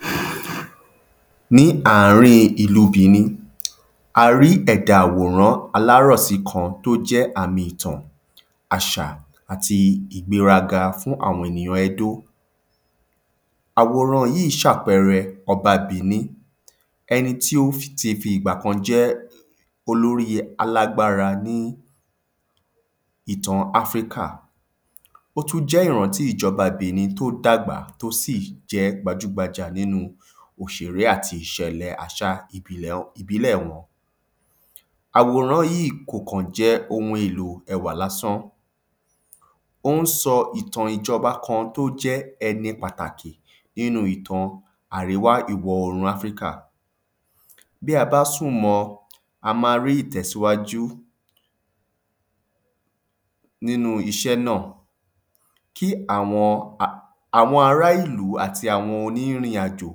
﻿ Ní ààrín ìlú Benin, a rí ẹ̀dà àwòrán alárọ̀sí kan tí ó jẹ́ àmì ìtàn àṣà àti ìgbéraga fún àwọn ènìyàn Edo. Àwòran yí sàpẹrẹ ọba Benin, ẹni tí ó fi ti ìgba kan jẹ́ olórí alágbára ní ìtan Africa, ó tún jẹ́ ìrántí ìjọba Benin tí ó dàgbà tí ó sì jẹ́ gbajúgbajà nínu òṣèré àti ìṣẹ̀lẹ̀ àṣa ìbilẹ̀ wọn, ìbílẹ̀ wọn. Àwòrán yí kò kàn jẹ́ ohun elò ẹwà lásán, óhún sọ ìtàn ìjọba kan tí ó jẹ́ ẹni pàtàkì nínu ìtan àríwá ìwọ òòrùn Africa. Bí a bá súmọ, a ma rí ìtẹ̀síwájú nínu iṣẹ́ nà, kí àwọn, a, àwọn ará ìlú àti àwọn onírìnàjò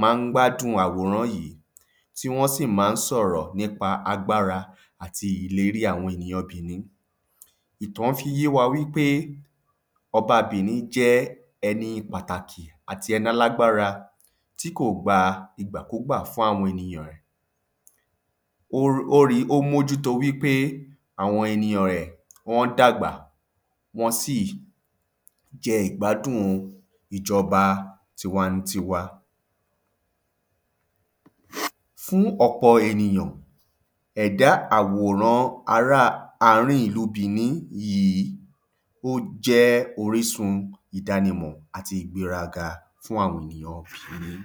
má n gbádùn àwòrán yí, tí wọ́n sì má n sọ̀rọ̀ nípa agbára àti Ileri àwọn ènìyan Benin. Ìtán fí n yé wa wípé oba Benin jẹ́ ẹni pàtàkì àti ẹni alágbára tí kò gba ìgbàkúgbà fún àwọn ènìyàn rẹ̀. Ó ó ri ó mójú to wípé àwon eniyàn rẹ̀ wọ́n dàgbà wọ́n sì jẹ ìgbádùn ìjọba tiwa n tiwa. Fún ọ̀pọ̀ ènìyàn, ẹ̀dá àwòrán ará ààrín ìlu Benin yí ó jẹ́ orísun ìdánimọ̀ àti ìgbéraga fún àwọn ènìyàn Benin.